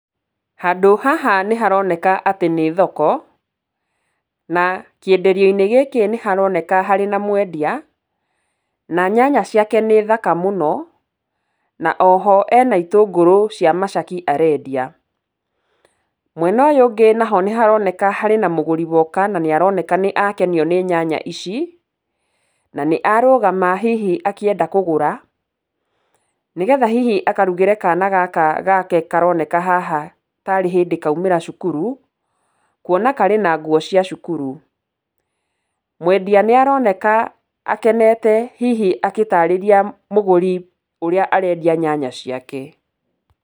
Handũ haha nĩ haroneka atĩ nĩ thoko, na kĩenderio gĩkĩ nĩ haroneka harĩ na mwendia, na nyanya ciake nĩ thaka mũno, na oho ena itũngũrũ cia macaki arendia. Mwena ũyũ ũngĩ naho nĩ haroneka harĩ na mũgũri wona na nĩ aroneka nĩ akenio nĩ nyanya ici, na nĩ arũgama hihi akĩenda kũgũra, nĩgetha hihi akarugĩre kana gaka gake karoneka haha tarĩ hĩndĩ kaumĩra cukuru, kuona karĩ na nguo cia cukuru. Mwendia nĩ aroneka akenete hihi agĩtaarĩria mũgũri ũrĩa arendia nyanya ciake.